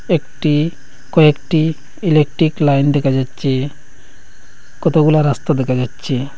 একটি কয়েকটি electric line দেখা যাচ্ছে কতগুলা রাস্তা দেখা যাচ্ছে।